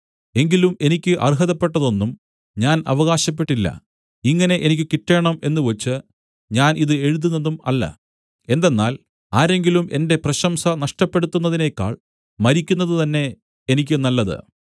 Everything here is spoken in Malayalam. എങ്കിലും എനിക്ക് അർഹതപ്പെട്ടത് ഒന്നും ഞാൻ അവകാശപ്പെട്ടില്ല ഇങ്ങനെ എനിക്ക് കിട്ടേണം എന്നുവച്ച് ഞാൻ ഇത് എഴുതുന്നതും അല്ല എന്തെന്നാൽ ആരെങ്കിലും എന്റെ പ്രശംസ നഷ്ടപ്പെടുത്തുന്നതിനേക്കാൾ മരിക്കുന്നത് തന്നെ എനിക്ക് നല്ലത്